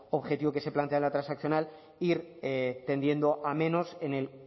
objetivo que se plantea en la transaccional ir tendiendo a menos en el